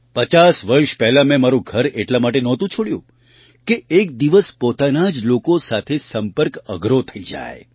પચાસ વર્ષ પહેલાં મેં મારું ઘર એટલા માટે નહોતું છોડ્યું કે એક દિવસ પોતાના જ લોકો સાથે સંપર્ક અઘરો થઈ જાય